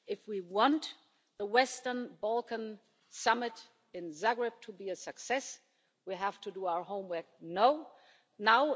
If we want the Western Balkans Summit in Zagreb to be a success, we have to do our homework now.